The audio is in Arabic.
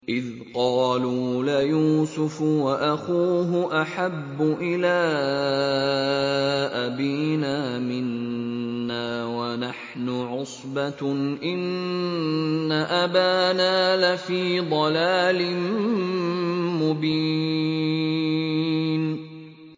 إِذْ قَالُوا لَيُوسُفُ وَأَخُوهُ أَحَبُّ إِلَىٰ أَبِينَا مِنَّا وَنَحْنُ عُصْبَةٌ إِنَّ أَبَانَا لَفِي ضَلَالٍ مُّبِينٍ